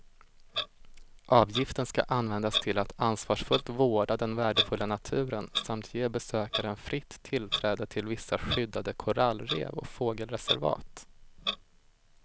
Avgiften ska användas till att ansvarsfullt vårda den värdefulla naturen samt ge besökaren fritt tillträde till vissa skyddade korallrev och fågelreservat.